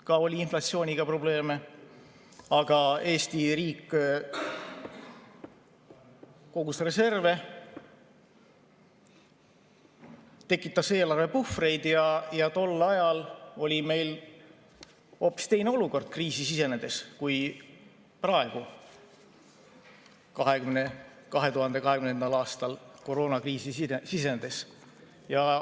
Ka siis oli inflatsiooniga probleeme, aga Eesti riik oli kogunud reserve ja tekitanud eelarvepuhvreid ning tol ajal oli meil hoopis teine olukord kriisi sisenedes, kui oli 2020. aastal koroonakriisi sisenedes.